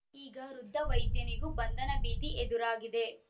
ಈಗ ವೃದ್ಧ ವೈದ್ಯನಿಗೂ ಬಂಧನ ಭೀತಿ ಎದುರಾಗಿದೆ